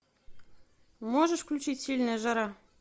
можешь включить сильная жара